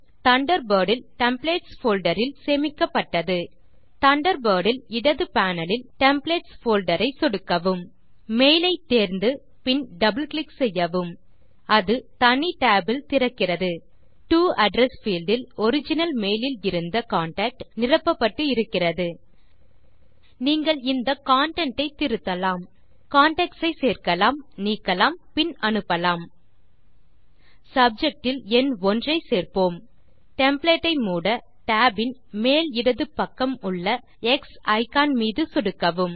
Thunderbird இல் templates folder இல் சேமிக்கப்பட்டது தண்டர்பர்ட் இல் இடது பேனல் இல் டெம்ப்ளேட்ஸ் போல்டர் ஐ சொடுக்கவும் மெயில் ஐ தேர்ந்து பின் டபிள் கிளிக் செய்யவும் அது தனி tab இல் திறக்கிறது டோ அட்ரெஸ் பீல்ட் இல் ஒரிஜினல் மெயில் இல் இருந்த கான்டாக்ட் நிரப்பப்பட்டு இருக்கிறது நீங்கள் இந்த கன்டென்ட் ஐ திருத்தலாம் கான்டாக்ட்ஸ் ஐ சேர்க்கலாம் நீக்கலாம் பின் அனுப்பலாம் சப்ஜெக்ட் இல் எண் 1 ஐ சேர்ப்போம் டெம்ப்ளேட் ஐ மூட tab இன் மேல் இடது பக்கம் உள்ள எக்ஸ் இக்கான் மீது சொடுக்கவும்